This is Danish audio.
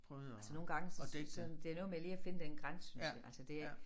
Altså nogle gange så sådan det er noget med lige at finde den grænse synes jeg altså det er ikke